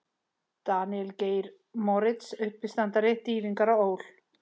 Daníel Geir Moritz, uppistandari: Dýfingar á ÓL.